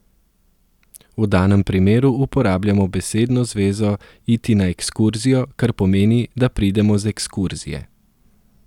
V danem primeru uporabljamo besedno zvezo iti na ekskurzijo, kar pomeni, da pridemo z ekskurzije.